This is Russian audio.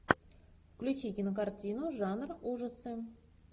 включи кинокартину жанр ужасы